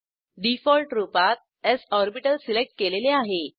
default रूपात S orbital select केलेले आहे